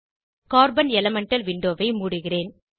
carbon elemental விண்டோவை மூடுகிறேன்